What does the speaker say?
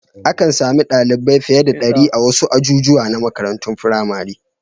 Akan sami ɗalibai fiye da ɗari a wasu ajujuwa na makarantun firamare.